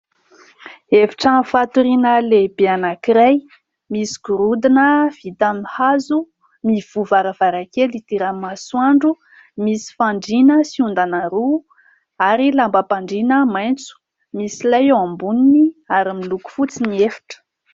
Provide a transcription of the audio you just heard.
Efitrano fatoriana lehibe anankiray : misy gorodona vita amin'ny hazo, mivoha ny varavarankely idiran'ny masoandro, misy fandriana sy ondana roa ary lambam-pandriana maitso, misy lay eo amboniny ary miloko fotsy ny efitra.